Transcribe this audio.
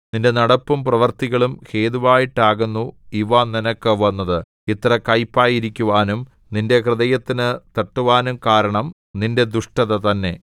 നിന്റെ നടപ്പും പ്രവൃത്തികളും ഹേതുവായിട്ടാകുന്നു ഇവ നിനക്ക് വന്നത് ഇത്ര കൈപ്പായിരിക്കുവാനും നിന്റെ ഹൃദയത്തിനു തട്ടുവാനും കാരണം നിന്റെ ദുഷ്ടത തന്നെ